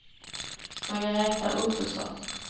Margaretha Ottosson